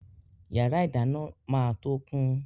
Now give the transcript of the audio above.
Yàrá ìdáná máa tó kún.